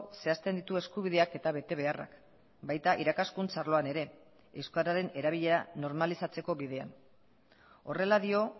zehazten ditu eskubideak eta betebeharrak baita irakaskuntza arloan ere euskararen erabilera normalizatzeko bidean horrela dio